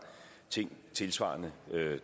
tænkt tilsvarende